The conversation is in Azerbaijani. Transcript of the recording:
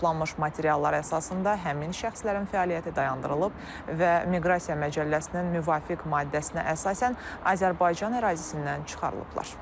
Toplanmış materiallar əsasında həmin şəxslərin fəaliyyəti dayandırılıb və Miqrasiya Məcəlləsinin müvafiq maddəsinə əsasən Azərbaycan ərazisindən çıxarılıblar.